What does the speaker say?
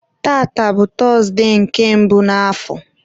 tata bụ tọzụdee nke mbụ n'afọ